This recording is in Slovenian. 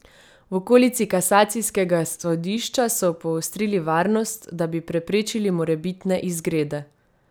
V okolici kasacijskega sodišča so poostrili varnost, da bi preprečili morebitne izgrede.